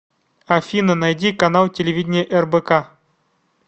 афина найди канал телевидения рбк